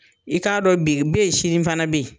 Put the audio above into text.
I k'a dɔn bi bɛ yen sini fana bɛ yen.